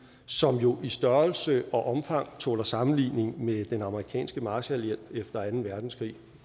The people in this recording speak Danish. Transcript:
som jo i størrelse og omfang tåler sammenligning med den amerikanske marshallhjælp efter anden verdenskrig